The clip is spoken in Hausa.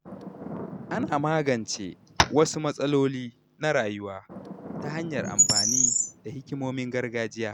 Ana magance wasu matsaloli na rayuwa ta hanyar amfani da hikimomin gargajiya.